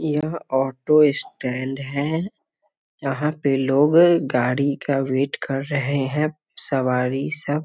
यह auto stand है यहाँ पे लोग गाड़ी का वेट कर रहे हैं सवारी सब --